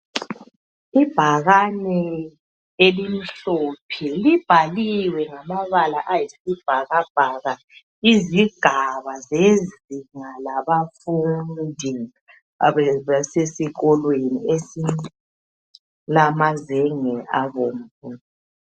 ibhakane elimhlophe libhaliwe libhaliwe ngamabala ayisibhakabhaka izigabazezinga labafundi zasesikolweni esilama zenge abomvu